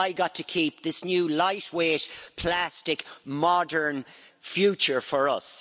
I got to keep this new lightweight, plastic, modern future for us.